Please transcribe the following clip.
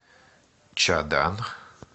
чадан